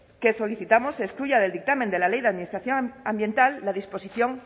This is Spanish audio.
que solicitamos se excluya del dictamen de la ley de administración ambiental la disposición